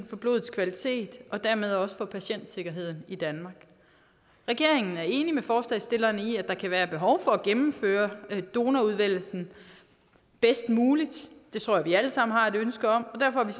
for blodets kvalitet og dermed også for patientsikkerheden i danmark regeringen er enig med forslagsstillerne i at der kan være behov for at gennemføre donorudvælgelsen bedst muligt det tror jeg vi alle sammen har et ønske om og derfor